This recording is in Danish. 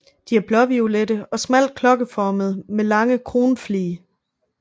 De er blåviolette og smalt klokkeformede med lange kronflige